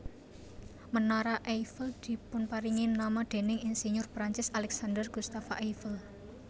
Menara Eiffel dipunparingi nama déning insinyur Perancis Alexandre Gustave Eiffel